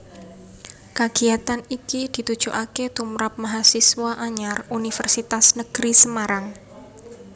Kagiyatan iki ditujokaké tumrap mahasiswa anyar Universitas Negeri Semarang